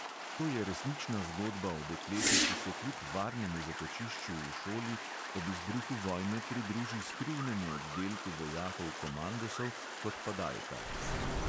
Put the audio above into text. To je resnična zgodba o dekletu, ki se kljub varnemu zatočišču v šoli ob izbruhu vojne pridruži skrivnemu oddelku vojakov komandosov kot padalka.